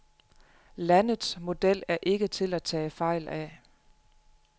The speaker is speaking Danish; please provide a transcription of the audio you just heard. Landets model er ikke til at tage fejl af.